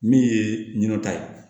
Min ye ɲinɛ ta ye